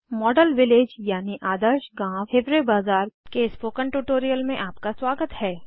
model village यानि आदर्श गाँव160 हिवारे बाजार के स्पोकन ट्यूटोरियल में आपका स्वागत है